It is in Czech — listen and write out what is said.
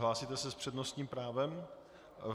Hlásíte se s přednostním právem?